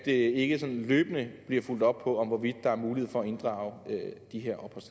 ikke sådan løbende bliver fulgt op på hvorvidt der er mulighed for at inddrage